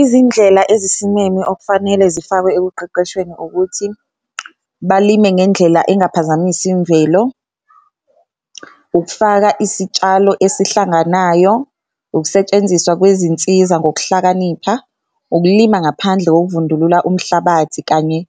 Izindlela ezisimeme okufanele zifakwe ekuqeqeshweni ukuthi balime ngendlela engaphazamisi imvelo, ukufaka isitshalo esihlanganayo, ukusetshenziswa kwezinsiza ngokuhlakanipha. Ukulima ngaphandle kokuvundulula umhlabathi kanye